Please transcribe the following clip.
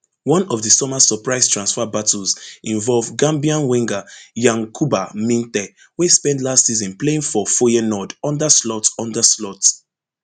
one of di summer surprise transfer battles involve gambian winger yankuba minteh wey spend last season playing for feyenoord under slot under slot